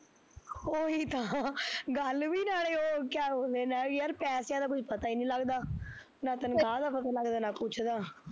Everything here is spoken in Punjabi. ਓਹੀ ਤਾਂ ਗੱਲ ਵੀ ਨਾਲੇ ਉਹ ਕਿਹਾ ਬੋਲਦੇ ਨਾਲੇ ਯਾਰ ਪੈਸਿਆ ਦਾ ਕੁਜ ਪਤਾ ਈ ਨੀ ਲੱਗਦਾ, ਨਾ ਤਨਖਾਹ ਦਾ ਪਤਾ ਲੱਗਦਾ, ਨਾ ਕੁਛ ਦਾ